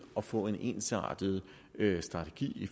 at få en ensartet strategi i